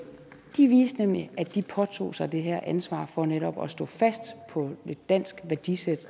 de viser nemlig at de påtager sig det her ansvar for netop at stå fast på et dansk værdisæt